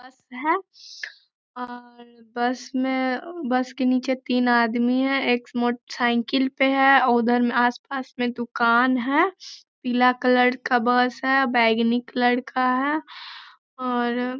बस है और बस में बस के नीचे तीन आदमी है एक मोटर साइकिल पे है और उधर आस-पास में दुकान है। पीला कलर का बैंगनी कलर का है और --